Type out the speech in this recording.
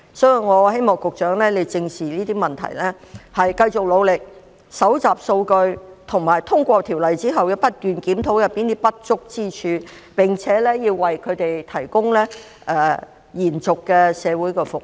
所以，我希望局長正視這些問題，繼續努力搜集數據，以及在通過《條例草案》之後，不斷檢討當中不足之處，並且要為"劏房"居民提供延續的社會服務。